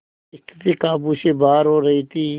स्थिति काबू से बाहर हो रही थी